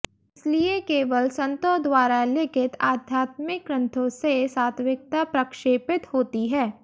इसलिए केवल संतों द्वारा लिखित आध्यात्मिक ग्रंथों से सात्त्विकता प्रक्षेपित होती है